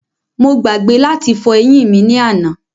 Mo gbàgbé láti fọ eyín mí ni àná